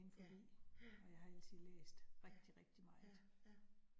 Ja, ja. Ja ja ja